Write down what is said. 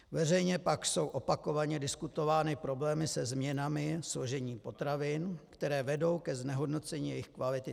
Veřejně pak jsou opakovaně diskutovány problémy se změnami složení potravin, které vedou ke znehodnocení jejich kvality.